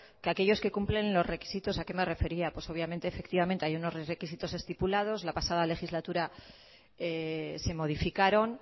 que aquellos que cumplen los requisitos a qué me refería pues obviamente efectivamente hay unos requisitos estipulados la pasada legislatura se modificaron